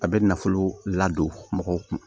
A bɛ nafolo ladon mɔgɔw kun